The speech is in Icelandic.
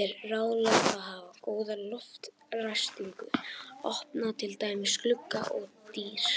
er ráðlegt að hafa góða loftræstingu, opna til dæmis glugga og dyr.